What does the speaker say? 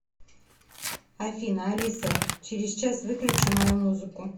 афина алиса через час выключи мою музыку